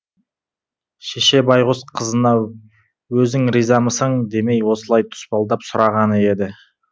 шеше байғұс қызына өзің ризамысың демей осылай тұспалдап сұрағаны еді